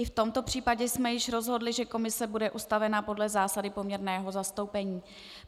I v tomto případě jsme již rozhodli, že komise bude ustavena podle zásady poměrného zastoupení.